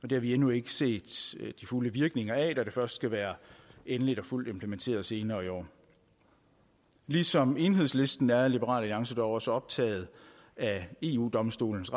det har vi endnu ikke set de fulde virkninger af da det først skal være endeligt og fuldt implementeret senere i år ligesom enhedslisten er liberal alliance dog også optaget af eu domstolens